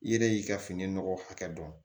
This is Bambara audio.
I yɛrɛ y'i ka fini nɔgɔ hakɛ dɔn